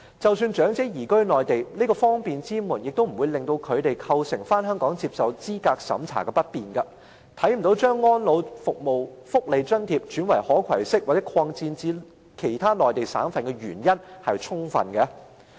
即使長者移居內地，這道方便之門也不會對他們返回香港接受資格審查構成不便，因此，我看不到有充分理由把安老福利津貼轉為可攜式，以及擴展至內地其他省份。